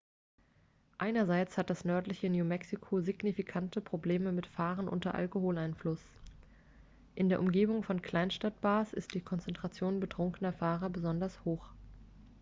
einerseits hat das nördliche new mexico signifikante probleme mit fahren unter alkoholeinfluss in der umgebung von kleinstadt-bars ist die konzentration betrunkener fahrer besonders hoch